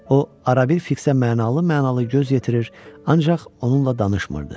O arabir Fiksə mənalı-mənalı göz yetirir, ancaq onunla danışmırdı.